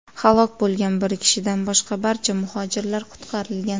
Halok bo‘lgan bir kishidan boshqa barcha muhojirlar qutqarilgan.